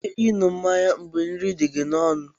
Ị nwere ike ịṅụ biya mgbe nri dị gị n'ọnụ?